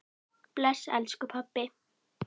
Bless elsku pabbi.